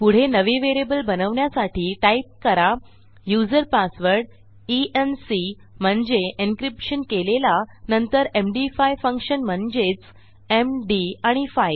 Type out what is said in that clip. पुढे नवे व्हेरिएबल बनवण्यासाठी टाईप करा user password E N C म्हणजे एन्क्रिप्शन केलेला नंतरMD5 फंक्शन म्हणजेच एम dआणि 5